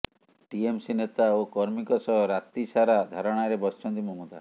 TMC ନେତା ଓ କର୍ମୀଙ୍କ ସହ ରାତି ସାରା ଧାରଣାରେ ବସିଛନ୍ତି ମମତା